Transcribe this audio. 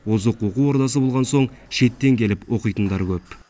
озық оқу ордасы болған соң шеттен келіп оқитындар көп